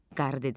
Qarı dedi: